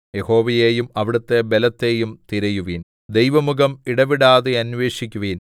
യഹോവയെയും അവിടുത്തെ ബലത്തെയും തിരയുവിൻ ദൈവമുഖം ഇടവിടാതെ അന്വേഷിക്കുവിൻ